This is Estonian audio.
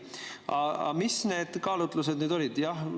Aga mis need kaalutlused nüüd olid?